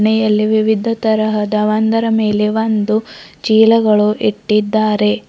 ಮೇಲೆ ವಿವಿಧ ತರಹದ ಒಂದರ ಮೇಲೆ ಒಂದು ಚೀಲಗಳು ಇಟ್ಟಿದ್ದಾರೆ.